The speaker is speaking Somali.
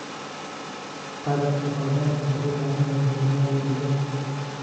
Qalabka oo dhan wuxuu u baahan yahay meel la dhigo.